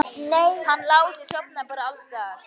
Hann Lási sofnar bara alls staðar.